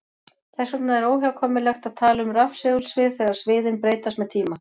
Þess vegna er óhjákvæmilegt að tala um rafsegulsvið þegar sviðin breytast með tíma.